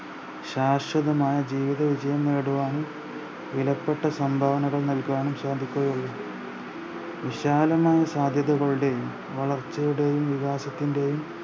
ശാശ്വതമായ ജീവിതവിജയം നേടുവാനും വിലപ്പെട്ട സംഭാവനകൾ നൽകുവാനും സാധിക്കുകയുള്ളു വിശാലമായ സാധ്യതകളുടെയും വളർച്ചയുടെയും വികാസത്തിന്റെയും